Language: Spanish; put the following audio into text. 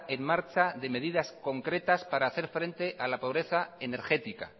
en marcha de medidas concretas para hacer frente a la pobreza energética